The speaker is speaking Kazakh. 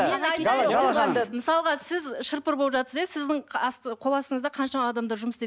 мысалға сіз шыр пыр болып жатырсыз иә сіздің қол астыңызда қаншама адамдар жұмыс істейді